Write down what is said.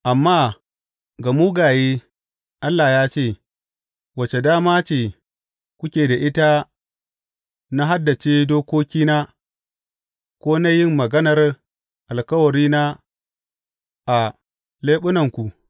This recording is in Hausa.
Amma ga mugaye, Allah ya ce, Wace dama ce kuke da ita na haddace dokokina ko na yin maganar alkawarina a leɓunanku?